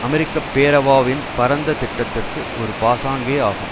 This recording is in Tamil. அமெரிக்க பேரவாவின் பரந்த திட்டத்திற்கு ஒரு பாசாங்கே ஆகும்